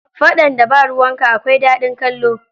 Faɗan da ba ruwanka akwai daɗin kallo.